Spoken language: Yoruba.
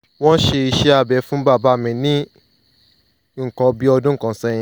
wọ́n ṣe iṣẹ́ abẹ fún bàbá mi ní nǹkan bí ọdún kan sẹ́yìn